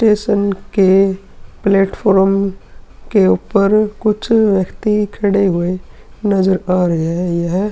Station के platform के ऊपर कुछ व्यक्ति खड़े हुए नजर आ रहे हैं। यह --